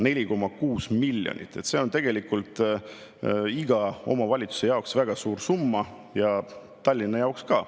4,6 miljonit – see on tegelikult iga omavalitsuse jaoks väga suur summa ja Tallinna jaoks ka.